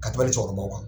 Ka tɛmɛ cɛkɔrɔbaw kan